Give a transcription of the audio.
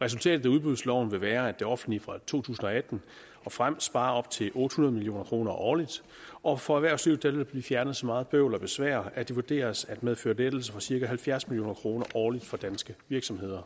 resultatet af udbudsloven vil være at det offentlige fra to tusind og atten og frem sparer op til otte hundrede million kroner årligt og for erhvervslivet vil der blive fjernet så meget bøvl og besvær at det vurderes at medføre lettelse for cirka halvfjerds million kroner årligt for danske virksomheder